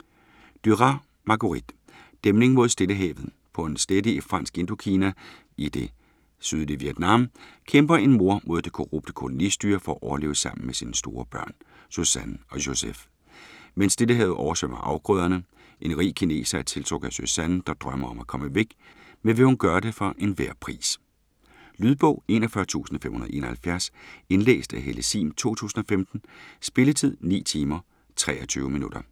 Duras, Marguerite: Dæmning mod Stillehavet På en slette i Fransk Indokina, i det sydlige Vietnam, kæmper en mor mod det korrupte kolonistyre for at overleve sammen med sine store børn, Suzanne og Joseph, men Stillehavet oversvømmer afgrøderne. En rig kineser er tiltrukket af Suzanne, der drømmer om at komme væk, men vil hun gøre det for enhver pris? Lydbog 41571 Indlæst af Helle Sihm, 2015. Spilletid: 9 timer, 23 minutter.